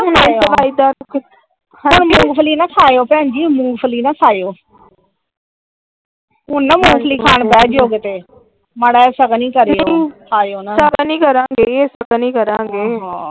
ਹੁਣ ਮੂੰਗਫਲੀ ਨਾ ਖਾਏ ਉਹ ਭੈਣੀਜੀ ਹੁਣ ਮੂੰਗਫਲੀ ਨਾ ਖਾਇਓ ਹੁਣ ਨਾ ਮੂੰਗਫਲੀ ਖਾਣ ਬਹਿ ਜਿਓ ਕੀਤੇ ਮਾੜਾ ਜੇਹਾ ਸ਼ਗੁਨ ਈ ਕਰਿਓ ਖਾਇਓ ਨਾ । ਜਾਹਿਦਾ ਨੀ ਕਰਾਂਗੇ ਜਾਹਦਾ ਨੀ ਕਰਾਂਗੇ ।